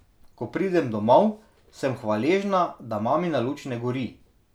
Ko pridem domov, sem hvaležna, da mamina luč ne gori.